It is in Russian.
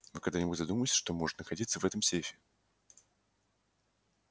вы когда-нибудь задумывались что может находиться в этом сейфе